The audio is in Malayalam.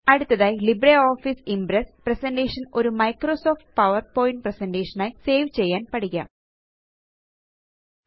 അടുത്തതായി ലിബ്രെ ഓഫീസ് ഇംപ്രസ് പ്രസന്റേഷൻ ഒരു മൈക്രോസോഫ്ട്പവർപോയിൻറെസെന്റേറ്റ്റ്റേറ്റ്റ്റ്റീൻറ്റ്റ്റ്റ്റ്റീൻറ്റ്റ്റ്റ്റ്റ്റ്റന്റന്റന് ആയി സേവ് ചെയ്യാന് പഠിക്കാം